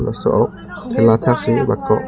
laso ok thela athak si batkok.